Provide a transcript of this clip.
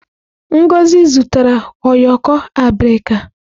Ngozi zụtara ụyọkọ abirika.